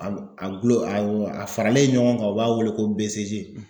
A gulon a faralen ɲɔgɔn kan ,u b'a wele ko